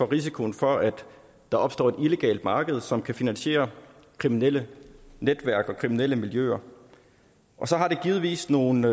risiko for at der opstår et illegalt marked som kan finansiere kriminelle netværk og kriminelle miljøer og så har det givetvis nogle